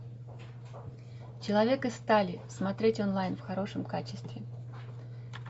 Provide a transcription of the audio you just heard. человек из стали смотреть онлайн в хорошем качестве